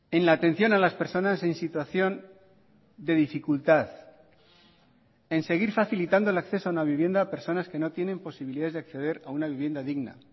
en la atención a las personas en situación de dificultad en seguir facilitando el acceso a una vivienda a personas que no tienen posibilidades de acceder a una vivienda digna